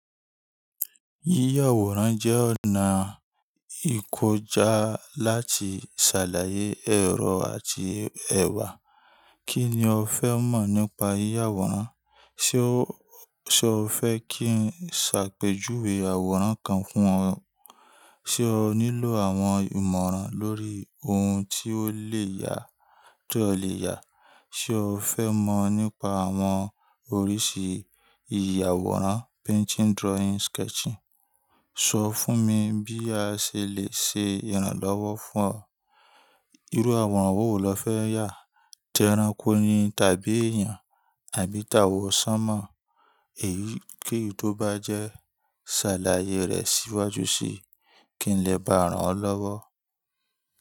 Yíyàwòrán jẹ́ ọ̀nà ìkọjá láti ṣàlàyé ẹ̀rọ àti ẹ̀wà. Kí ni o fẹ́ mọ̀ nípa yíyàwòrán? Ṣé o fẹ́ kí n ṣàpèjúwé àwòrán kan fún ọ? Ṣé o nílò àwọn ìmọ̀ràn lórí ohun tí ó lè yà tí ó lè yà? Ṣé o fẹ́ mọ̀ nípa àwọn oríṣi ìyàwòrán; painting, drawing, sketching? Sọ fún mi bí a ṣe lè ṣe ìrànlọ́wọ́ fún ọ. Irú àwòrán wo lo fẹ́ yà? Tẹ erankó ni tàbí èèyàn àbí tàwọ̀sánmọ́? Èyíkeyi tó bá jẹ́ ṣàlàyé rẹ síwájú sí kí n lè bá ọ rànlọ́wọ́.